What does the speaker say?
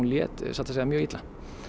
satt að segja mjög illa